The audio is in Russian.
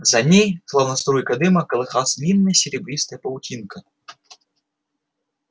за ней словно струйка дыма колыхалась длинная серебристая паутинка